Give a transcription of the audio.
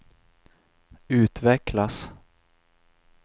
utvecklas